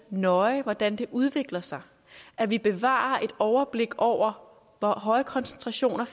nøje hvordan det udvikler sig at vi bevarer et overblik over hvor høje koncentrationer